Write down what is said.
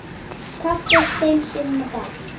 Kaffi fimm sinnum á dag.